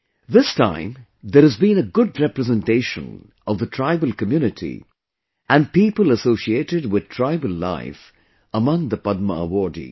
This time there has been a good representation of the tribal community and people associated with tribal life among the Padma awardees